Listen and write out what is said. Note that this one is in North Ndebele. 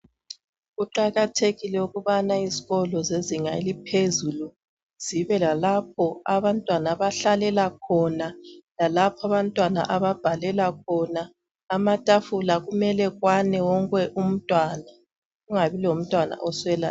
Kuqakathekile ukubana izikolo zezinga eliphezulu zibe lalapho abantwana abahlalela khona, lalapho abantwana ababhalela khona. Amatafula kumele ekwane wonke umntwana, kungabi lomntwana oswela.